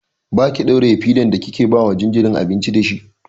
Baki ɗauraye fidar ba kike ba ma jinjirin abinci dashi.